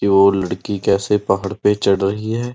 की वो लड़की कैसे पहाड़ पे चढ़ रही है।